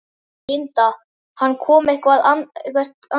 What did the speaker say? Linda: Hann kom eitthvert annað?